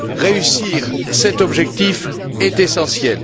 Réussir cet objectif est essentiel.